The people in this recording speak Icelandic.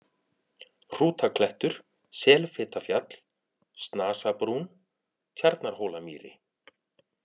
Hrútaklettur, Selfitafjall, Snasabrún, Tjarnarhólamýri